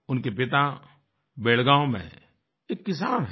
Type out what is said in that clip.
उनके पिता बेलगाम में एक किसान हैं